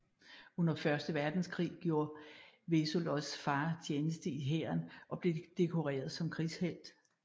Under Første Verdenskrig gjorde Vsevolods far tjeneste i hæren og blev dekoreret som krigshelt